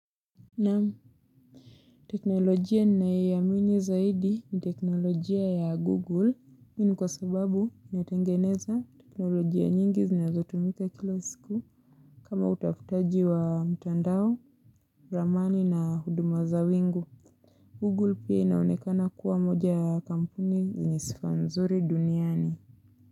Naam teknolojia ninayoiamini zaidi ni teknolojia ya google kwa sababu inatengeneza teknolojia nyingi zinazotumika kila siku. Kama utafutaji wa mtandao, ramani na huduma za wingu, Google pia inaonekana kuwa mmoja ya kampuni yenye sifa nzuri duniani.